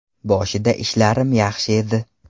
Boshida ishlarim yaxshi edi.